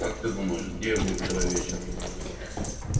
как ты думаешь где я был вчера вечером